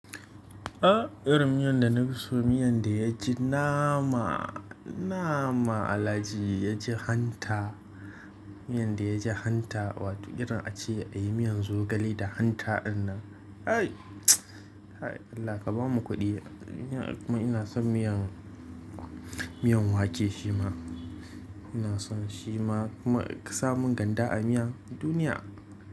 Ah! Irin miyan da na fi so miyan da ya ji nama, nama Alhaji ya ji hanta. Miyar da ya ji hanta, wato irin ace a yi miyan zogale da hanta dinnan. Ai! Allah ka ba mu kuɗi. Ina kuma ina son miyan, miyan wake shima. Ina son shima kuma ka sa mun ganda a miyan duniya.